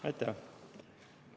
Aitäh!